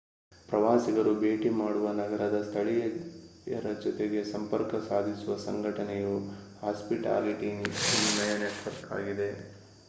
ಪ್ರವಾಸಿಗರು ಭೇಟಿ ಮಾಡುವ ನಗರದ ಸ್ಥಳೀಯರ ಜೊತೆಗೆ ಸಂಪರ್ಕ ಸಾಧಿಸುವ ಸಂಘಟನೆಯು ಹಾಸ್ಪಿಟಾಲಿಟಿ ವಿನಿಯಮ ನೆಟ್‌ವರ್ಕ್‌ ಆಗಿದೆ